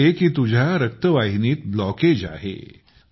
ते म्हणाले की तुझ्या रक्तवाहिनीत ब्लॉकेज आहे